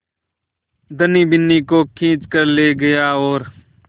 धनी बिन्नी को खींच कर ले गया और